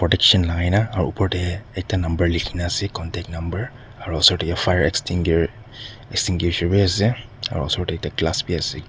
lagaina aro opor dae ekta number lekhina ase contact number aro osor dae fire extinguer extinguisher bhi ase aro osor dae ekta glass bhi ase.